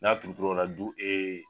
N'a turu turu la o la du e